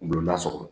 Gulolasɔrɔ